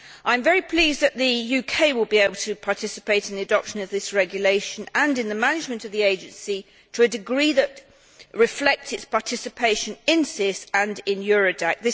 I am very pleased that the UK will be able to participate in the adoption of this regulation and in the management of the agency to a degree that reflects its participation in SIS and in Eurodac.